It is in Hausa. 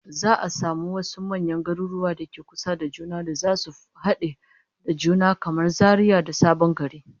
Za'a samu wasu manyan garuruwan da ke kusa da juna da zasu hade da juna, kamar Zaria da Sabon Gari